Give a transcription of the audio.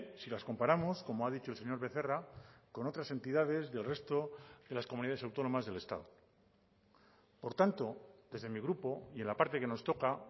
si las comparamos como ha dicho el señor becerra con otras entidades del resto de las comunidades autónomas del estado por tanto desde mi grupo y en la parte que nos toca